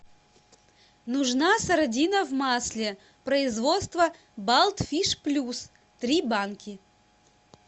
нужна сардина в масле производство балт фиш плюс три банки